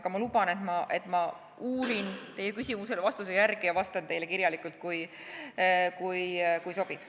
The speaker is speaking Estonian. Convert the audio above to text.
Aga ma luban, et ma uurin vastuse järele ja vastan teile kirjalikult, kui sobib.